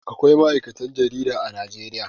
Akwai ma'aikatan jarida a Najeriya.